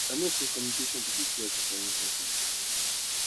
i know say communication be di key of repairing bonds and building trust